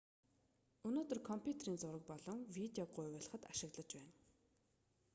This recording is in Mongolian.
өнөөдөр компьютерийг зураг болон видеог гуйвуулахад ашиглаж байна